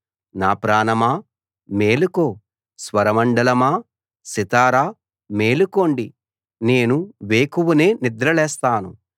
నా ప్రాణమా మేలుకో స్వరమండలమా సితారా మేలుకోండి నేను వేకువనే నిద్ర లేస్తాను